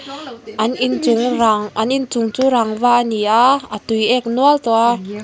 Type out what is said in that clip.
an in chung rang an in chung chu rangva ani a a tuiek nual tawh a.